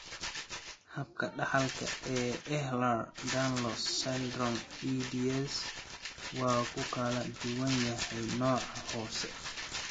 Habka dhaxalka ee Ehlers Danlos syndrome (EDS) waa ku kala duwan yahay nooca hoose.